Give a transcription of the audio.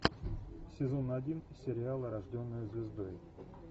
сезон один сериала рожденная звездой